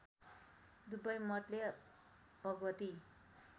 दुवै मतले भगवती